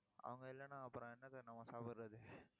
அவங்க இல்லைன்னா அப்புறம் என்னத்தை நம்ம சாப்பிடறது